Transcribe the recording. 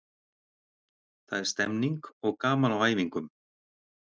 Það er stemning og gaman á æfingum.